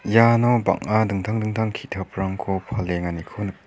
iano dingtang dingtang bang·a ki·taprangko palenganiko nik--